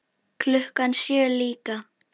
Klukkan sjö líka.